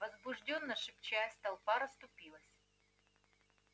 возбуждённо шепчась толпа расступилась